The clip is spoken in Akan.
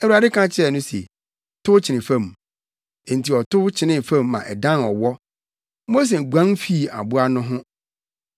Awurade ka kyerɛɛ no se, “Tow kyene fam.” Enti ɔtow kyenee fam ma ɛdan ɔwɔ. Mose guan fii aboa no ho.